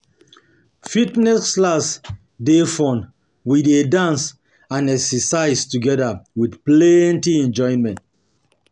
Fitness class dey fun, we dey dance and exercise together with plenty enjoyment.